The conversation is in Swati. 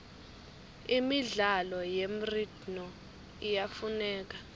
imidlalo yemridno iyafuneka